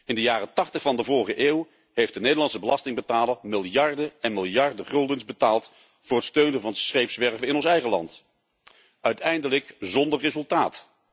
In de jaren tachtig van de vorige eeuw heeft de Nederlandse belastingbetaler miljarden en miljarden guldens betaald voor het steunen van scheepswerven in ons eigen land, uiteindelijk zonder resultaat.